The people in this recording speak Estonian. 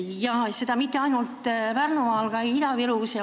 Ja seda mitte ainult Pärnumaal, vaid ka Ida-Virus.